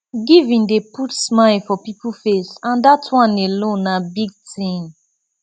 giving dey put smile for people face and dat one alone na big thing